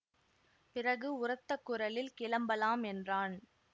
பிறகு உரத்த குரலில் கிளம்பலாம் என்றான்